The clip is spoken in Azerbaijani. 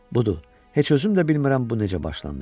Budur, heç özüm də bilmirəm bu necə başlandı.